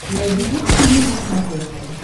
найди детский мир на смотрешке